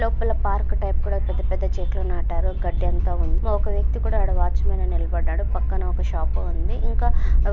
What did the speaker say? లోపల park type పెద్ద-పెద్ద చెట్లు నాటారు గడ్డి అంత ఉంది ఒక వ్యక్తీ కుడా అక్కడ వాచ్మన్ గా నిలబడ్డాడు పక్కన ఒక షాప్ ఉందిఇంకా